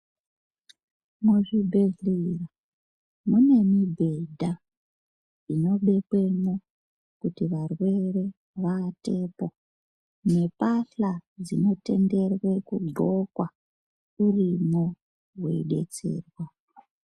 Muzvibhehleya munemibhedha inobekwemwo kuti varwere vaatepo, nembahla dzinotenderwe kudxokwa urimwo weidetserwa.